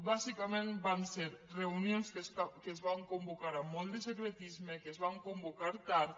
bàsicament van ser reunions que es van convocar amb molt de secretisme que es van convocar tard